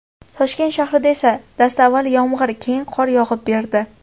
Toshkent shahrida esa dastavval yomg‘ir , keyin qor yog‘ib berdi.